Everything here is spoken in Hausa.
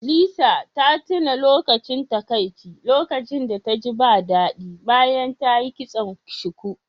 Lisa ta tuna lokacin takaici lokacin da taji ba daɗi bayan ta yi kiston shuku